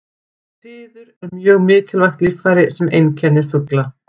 Fiður er mjög mikilvægt líffæri sem einkennir fugla.